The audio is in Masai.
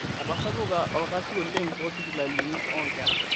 Etasapuka olkasi oleng' toosipitalini oonkera.